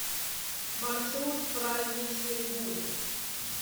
маршрут праздничный бум